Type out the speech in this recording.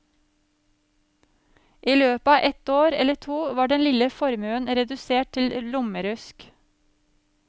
I løpet av et år eller to var den lille formuen redusert til lommerusk.